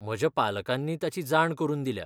म्हज्या पालकांनी ताची जाण करून दिल्या.